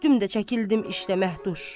Ürkütdüm də çəkildim işdə məhbuş.